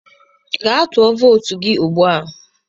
Gaa tụọ vootu gị ugbu a!